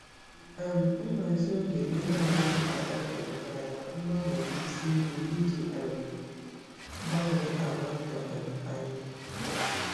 um Nhazi oge gị na-adịghị agafe pụtara na mgbanwe bụ isi ihe iji um gbanwee àgwà ndụ um anyị.